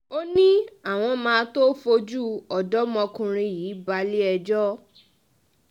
um ó ní àwọn máa tóó fojú ọ̀dọ́mọkùnrin yìí balẹ̀-ẹjọ́